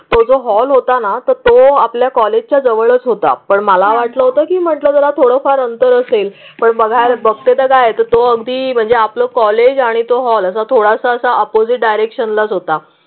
तो जो हॉल होता ना तर तो आपल्या कॉलेजच्या जवळच होता. पण मला वाटलं होतं की मला जरा थोडं फार अंतर असेल पण बघायला बघाय तो अगदी म्हणजे आपलं कॉलेज आणि तो हॉल आता थोडासा अपोजिट डायरेक्शनलाच होता.